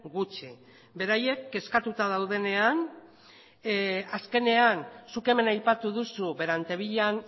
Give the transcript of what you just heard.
gutxi beraiek kezkatuta daudenean azkenean zuk hemen aipatu duzu berantevillan